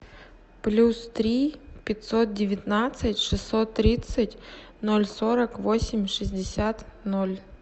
плюс три пятьсот девятнадцать шестьсот тридцать ноль сорок восемь шестьдесят ноль